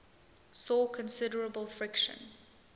saw considerable friction